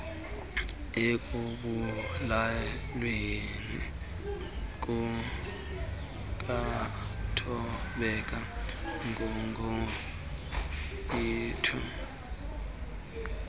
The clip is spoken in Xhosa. ekubulaweni kukathobeka nguguguiethu